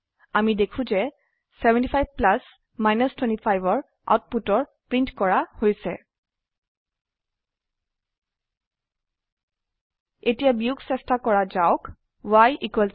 অামি দেখো যে 75 প্লাছ 25 আউটপুটৰ প্ৰীন্ট কৰা হৈছে এতিয়া বিয়োগ চেস্তা কৰা যাওক y 5